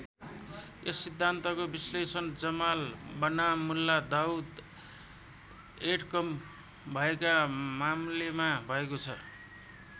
यस सिद्धान्तको विश्लेषण जमाल बनाम मुल्ला दाऊद ऐड कं भएका मामलेमा भएको छ।